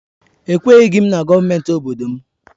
Ekwenyeghi m na gọọmenti obodo m.